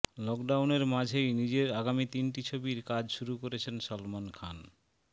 লকডাউনের মাঝেই নিজের আগামী তিনটি ছবির কাজ শুরু করছেন সলমন খান